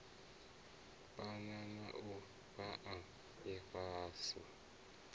phana na u fhaa ifhasi